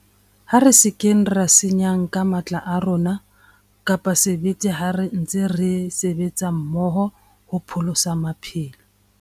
Ha re se ke ra senyang ka matla a rona kapa sebete ha re ntse re sebetsa mmoho hopholosa maphelo.